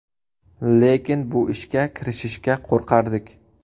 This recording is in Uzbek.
Lekin bu ishga kirishishga qo‘rqardik.